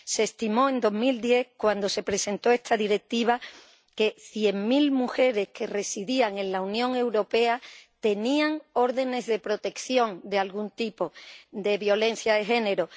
Se estimó en 2010, cuando se presentó esta Directiva, que cien mil mujeres que residían en la Unión Europea tenían órdenes de protección de algún tipo por violencia de género.